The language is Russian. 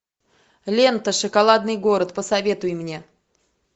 лента шоколадный город посоветуй мне